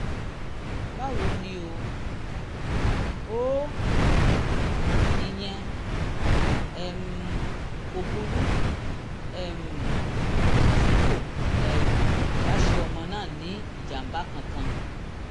báwo ni o? o? ìyẹn um kò burú um tí kò um bá ṣe ọmọ náà ní ìjàm̀bá kankan